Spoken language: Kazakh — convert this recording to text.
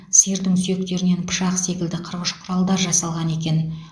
сиырдың сүйектерінен пышақ секілді қырғыш құралдар жасалған екен